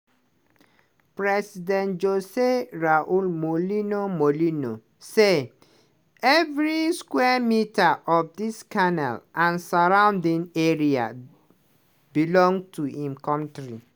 president josé raúl mulino mulino say "everi square metre" of di canal and surrounding area belong to im kontri.